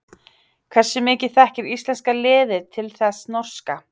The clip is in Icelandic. Hversu mikið þekkir íslenska liðið til þess norska?